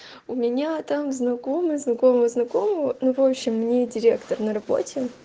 у меня там знакомый знакомого знакомого ну в общем не директор на работе